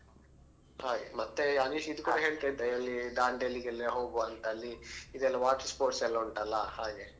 ಹಾಗೆ ಮತ್ತೆ ಅನಿಶ್ ಇದು ಕೂಡ ಹೇಳ್ತಿದ್ದ ಅಲ್ಲಿ Dandeli ಗೆ ಲ್ಲ ಹೋಗುವಂತಾ ಅಲ್ಲಿ ಇದೆಲ್ಲಾ water sports ಎಲ್ಲ ಉಂಟಲ್ಲಾ ಹಾಗೆ.